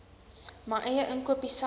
my eie inkopiesak